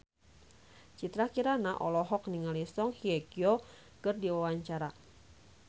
Citra Kirana olohok ningali Song Hye Kyo keur diwawancara